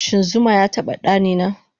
Shin zuma yataba ɗanina